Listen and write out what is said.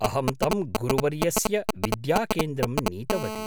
अहं तं गुरुवर्यस्य विद्याकेन्द्रं नीतवती।